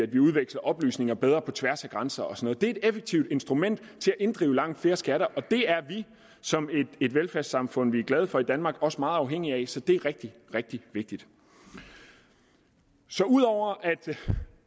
vi udveksler oplysninger bedre på tværs af grænser og sådan noget er effektive instrumenter til at inddrive langt flere skatter og det er vi som et velfærdssamfund som vi er glade for i danmark også meget afhængige af så det er rigtig rigtig vigtigt så ud over at